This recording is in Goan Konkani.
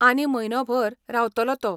आनी म्हयनोभर रावतलो तो.